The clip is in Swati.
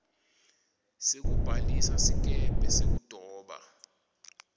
sekubhalisa sikebhe sekudoba